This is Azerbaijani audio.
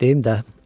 Deyim də.